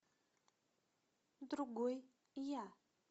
другой я